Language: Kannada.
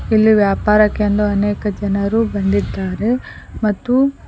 ಇಲ್ಲಿ ವ್ಯಾಪಾರಕೆಂದು ಅನೇಕ ಜನರು ಬಂದಿದ್ದಾರೆ ಮತ್ತು--